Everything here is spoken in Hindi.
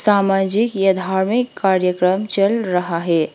सामाजिक या धार्मिक कार्यक्रम चल रहा है।